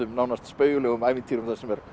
nánast spaugilegum ævintýrum þar sem er